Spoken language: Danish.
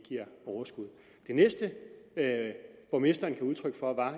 næste borgmesteren gav udtryk for var